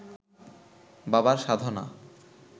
বাবার সাধনা